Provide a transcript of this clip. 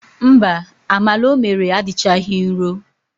Mba, amala o mere adịchaghị nro.